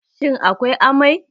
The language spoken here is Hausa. Shin akwai amai?